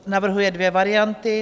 Navrhuje dvě varianty.